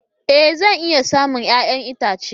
Ee! Zan iya samun 'ya'yan itace.